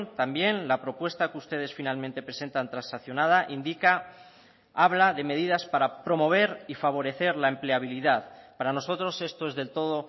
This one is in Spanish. también la propuesta que ustedes finalmente presentan transaccionada indica habla de medidas para promover y favorecer la empleabilidad para nosotros esto es del todo